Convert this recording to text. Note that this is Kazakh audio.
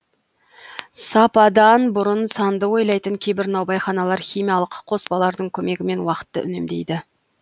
сападан бұрын санды ойлайтын кейбір наубайханалар химиялық қоспалардың көмегімен уақытты үнемдейді